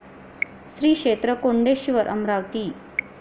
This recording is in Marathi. श्री क्षेत्र कोंडेश्वर अमरावती